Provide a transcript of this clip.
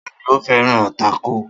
Ta ni ó fẹ́ran tákò?